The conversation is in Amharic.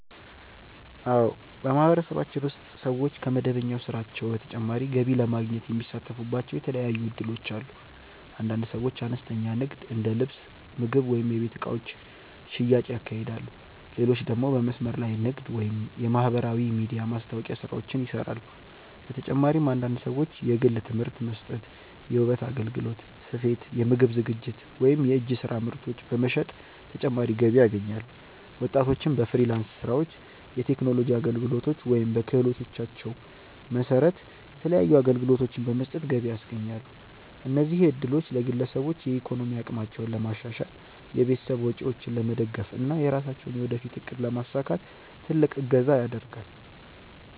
አዎ፣ በማህበረሰባችን ውስጥ ሰዎች ከመደበኛ ስራቸው በተጨማሪ ገቢ ለማግኘት የሚሳተፉባቸው የተለያዩ እድሎች አሉ። አንዳንድ ሰዎች አነስተኛ ንግድ እንደ ልብስ፣ ምግብ ወይም የቤት እቃዎች ሽያጭ ያካሂዳሉ፣ ሌሎች ደግሞ በመስመር ላይ ንግድ ወይም የማህበራዊ ሚዲያ ማስታወቂያ ስራዎችን ይሰራሉ። በተጨማሪም አንዳንድ ሰዎች የግል ትምህርት መስጠት፣ የውበት አገልግሎት፣ ስፌት፣ የምግብ ዝግጅት ወይም የእጅ ስራ ምርቶች በመሸጥ ተጨማሪ ገቢ ያገኛሉ። ወጣቶችም በፍሪላንስ ስራዎች፣ የቴክኖሎጂ አገልግሎቶች ወይም በክህሎታቸው መሰረት የተለያዩ አገልግሎቶችን በመስጠት ገቢ ያስገኛሉ። እነዚህ እድሎች ለግለሰቦች የኢኮኖሚ አቅማቸውን ለማሻሻል፣ የቤተሰብ ወጪዎችን ለመደገፍ እና የራሳቸውን የወደፊት እቅድ ለማሳካት ትልቅ እገዛ ያደርጋል።